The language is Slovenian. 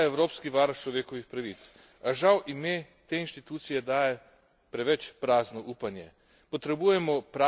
Vesel sem, da obstaja Evropski varuh človekovih pravic, a žal ime te inštitucije daje preveč prazno upanje.